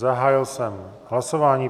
Zahájil jsem hlasování.